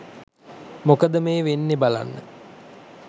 මොකද වෙන්නෙ බලන්න